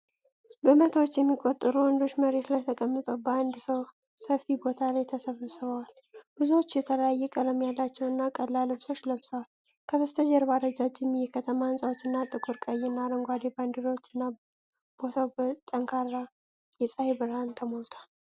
በመቶዎች የሚቆጠሩ ወንዶች መሬት ላይ ተቀምጠው በአንድ ሰፊ ቦታ ላይ ተሰብስበዋል። ብዙዎቹ የተለያየ ቀለም ያላቸው እና ቀላል ልብሶች ለብሰዋል። ከበስተጀርባ ረጃጅም የከተማ ሕንፃዎች እና ጥቁር፣ ቀይ እና አረንጓዴ ባንዲራዎች እና፣ ቦታው በጠንካራ የፀሐይ ብርሃን ተሞልቷል።